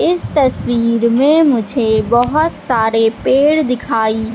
इस तस्वीर में मुझे बहोत सारे पेड़ दिखाइ--